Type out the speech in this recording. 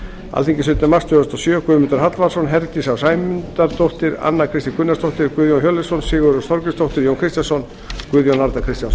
alþingi sautjánda mars tvö þúsund og sjö guðmundur hallvarðsson formaður frá herdís á sæmundardóttir anna kristín gunnarsdóttir guðjón hjörleifsson sigurrós þorgrímsdóttir jón kristjánsson guðjón a kristjánsson